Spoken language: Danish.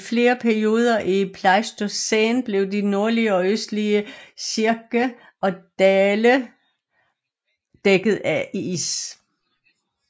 I flere perioder i Pleistocæn blev de nordlige og østlige cirques og dale dækket af is